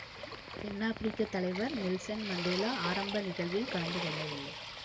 தென்னாப்பிரிக்கத் தலைவர் Nelson Mandela ஆரம்ப நிகழ்வில் கலந்து கொள்ளவில்லை